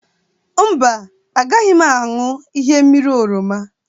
Mba, agaghị m aṅụ ihe mmiri oroma.